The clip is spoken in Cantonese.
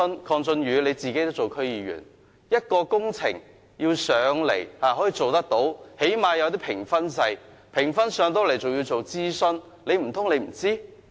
鄺俊宇議員，你也是區議員，一項工程要提交立法會，最低限度要有評分制，即使評分過關，還要進行諮詢，難道你不知道？